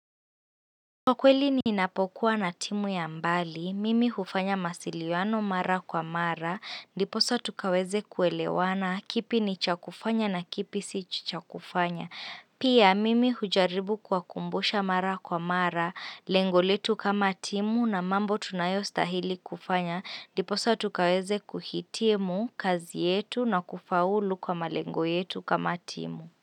Kwa kweli ni inapokuwa na timu ya mbali, mimi hufanya masiliwano mara kwa mara, ndiposa tukaweze kuelewana, kipi ni chakufanya na kipi si chakufanya. Pia mimi hujaribu kuwakumbusha mara kwa mara, lengoletu kama timu na mambo tunayo stahili kufanya, ndiposa tukaweze kuhitimu kazi yetu na kufaulu kwa malengo yetu kama timu.